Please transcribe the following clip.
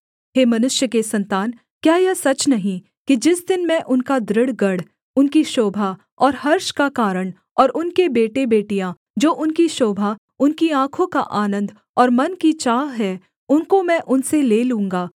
हे मनुष्य के सन्तान क्या यह सच नहीं कि जिस दिन मैं उनका दृढ़ गढ़ उनकी शोभा और हर्ष का कारण और उनके बेटेबेटियाँ जो उनकी शोभा उनकी आँखों का आनन्द और मन की चाह हैं उनको मैं उनसे ले लूँगा